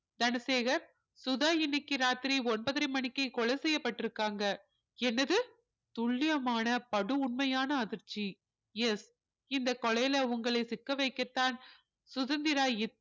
தனசேகர் சுதா இன்னைக்கு ராத்திரி ஒன்பதரை மணிக்கு கொலை செய்யப்பட்டிருக்காங்க என்னது துல்லியமான படு உண்மையான அதிர்ச்சி yes இந்த கொலையில உங்களை சிக்க வைக்கத்தான் சுதந்திரா